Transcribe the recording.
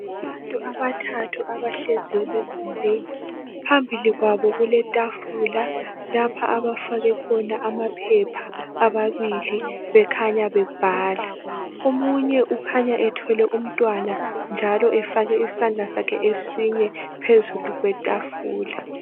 Abantu abathathu abahlezi egumbini phambili kwabo kule tafula lapha abafake khona amaphepha ababili bekhanya bebhala. Omunye ukhanya ethwele umntwana njalo efake isandla sakhe esinye phezu kwetafula.